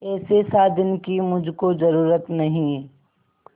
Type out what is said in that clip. ऐसे साजन की मुझको जरूरत नहीं